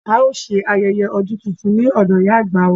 A ó ṣe ayẹyẹ ọdún tuntun ní ọ̀dọ̀ ìyá àgbà wa